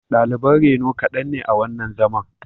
Daliban reno kaɗan ne a wannan zaman